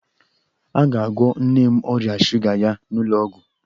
A ga-agwọ nne m ọrịa shuga ya n'ụlọ ọgwụ.